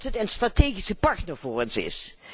Omdat het een strategische partner voor ons is.